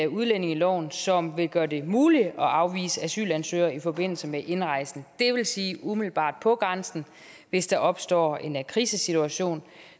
udlændingeloven som vil gøre det muligt at afvise asylansøgere i forbindelse med indrejse det vil sige umiddelbart på grænsen hvis der opstår en krisesituation